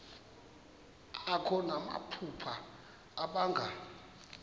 akho namaphupha abanga